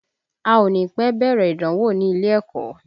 A ò ní pẹ́ bẹ̀rẹ̀ ìdánwò ní ilé ẹ̀kọ́